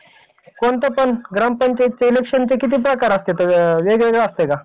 एका ठिकाण्याहून दुसऱ्या ठिकाणी अगदी कमी वेळात पोहोचतो. कारण आज अनेक प्रकारचे वाहने हायेत. आणि त्याचा विकास झपाट्याने होत हाय. पण